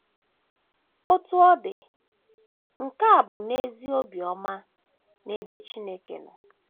Otú ọ dị, nke a bụ n’ezie obiọma n’ebe Chineke nọ.